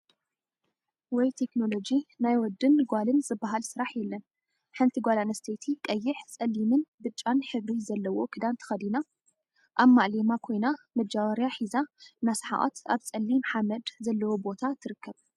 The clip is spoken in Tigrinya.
ወይ ቴክኖሎጂ ናይ ወድን ጓልን ዝበሃል ስራሕ የለን፡፡ ሓንቲ ጓል አንስተይቲ ቀይሕ፣ ፀሊምን ብጫን ሕብሪ ዘለዎ ክዳን ተከዲና አብ ማእሌማ ኮይና መጃወርያ ሒዛ እናሰሓቀት አብ ፀሊም ሓመድ ዘለዎ ቦታ ትርከብ፡፡